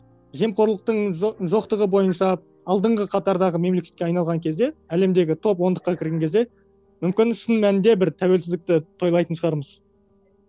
жемқорлықтың жоқтығы бойынша алдыңғы қатардағы мемлекетке айналған кезде әлемдегі топ ондыққа кірген кезде мүмкін шын мәнінде бір тәуелсіздікті тойлайтын шығармыз